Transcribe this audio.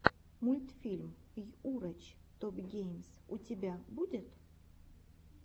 мультфильм йурач топгеймс у тебя будет